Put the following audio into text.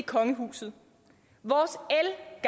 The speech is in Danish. så